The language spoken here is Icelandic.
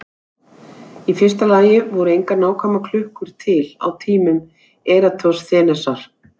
Í fyrsta lagi voru engar nákvæmar klukkur til á tímum Eratosþenesar.